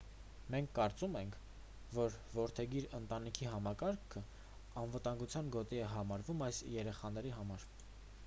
մենք կարծում ենք որ որդեգիր ընտանիքի համակարգն անվտանգության գոտի է համարվում այս երեխաների համար